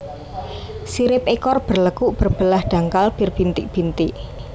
Sirip ekor berlekuk berbelah dangkal berbintik bintik